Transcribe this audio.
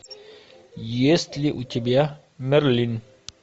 есть ли у тебя мерлин